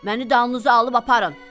Məni dalınıza alıb aparın.